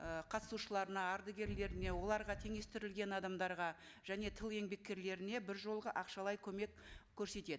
ы қатысушыларына ардагерлеріне оларға теңестірілген адамдарға және тыл еңбеккерлеріне бір жолғы ақшалай көмек көрсетеді